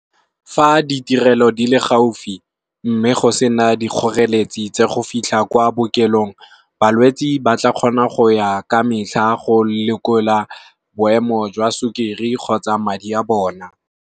Fa ditirelo di le gaufi, mme go sena dikgoreletsi tsa go fitlha kwa bookelong. Balwetsi ba tla kgona go ya ka metlha go lekola boemo jwa sukiri kgotsa madi a bona.